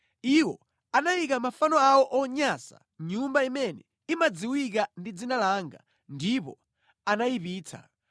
Iwo anayika mafano awo onyansa mʼnyumba imene imadziwika ndi dzina langa ndipo anayipitsa.